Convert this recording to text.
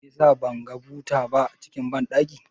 Shin meyasa ban ga buta ba cikin banɗakin